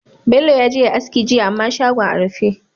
Bello yaje yayi aski jiya amma shagon a rufe